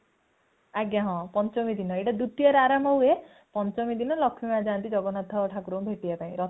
ଆଜ୍ଞା ହଁ ସେଟ ପଞ୍ଚମୀ ଦିନ ଏତ ଦୁତୀୟା ରେ ଆରମ୍ଭ ହୁଏ ପଞ୍ଚମୀ ଦିନ ଲକ୍ଷ୍ମୀ ମାଁ ଯାନ୍ତି ଜଗତନ୍ନାଥ ଠାକୁରଙ୍କୁ ଭେଟିବା ପାଇଁ